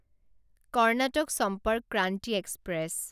Karnataka Sampark Kranti express